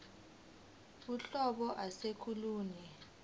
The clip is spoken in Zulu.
uhlobo ase kolunye